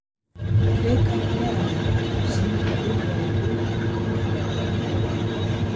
Kvikan neðanjarðar er sýnd með gulrauðum lit en hraunin rauð.